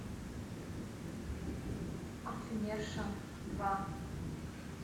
парфюмерша два